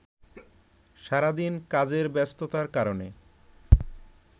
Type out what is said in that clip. সারাদিন কাজের ব্যস্ততার কারণে